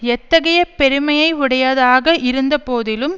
எத்தகைய பெருமையை உடையதாக இருந்த போதிலும்